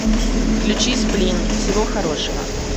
включи сплин всего хорошего